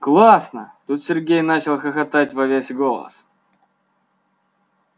классно тут сергей начал хохотать во весь голос